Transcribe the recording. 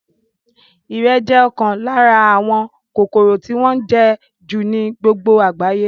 Ìrẹ̀ jẹ́ ọ̀kan lára àwọn kòkòrò tí wọ́n ń jẹ́ jù ní gbogbo àgbáyé